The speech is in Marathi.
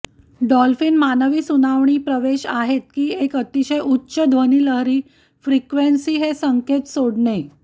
डॉल्फिन मानवी सुनावणी प्रवेश आहेत की एक अतिशय उच्च ध्वनिलहरी फ्रिक्वेन्सी हे संकेत सोडणे